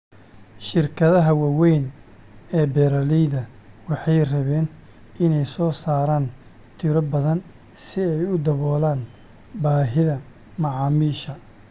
Shirkadaha waaweyn ee beeralayda waxay rabeen inay soo saaraan tiro badan si ay u daboolaan baahida macaamiisha.